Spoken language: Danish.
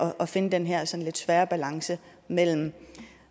at finde den her sådan lidt svære balance mellem